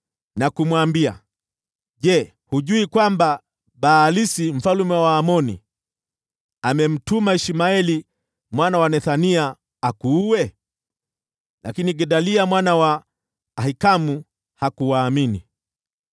na kumwambia, “Je, hujui kwamba Baalisi mfalme wa Waamoni amemtuma Ishmaeli mwana wa Nethania akuue?” Lakini Gedalia mwana wa Ahikamu hakuwaamini.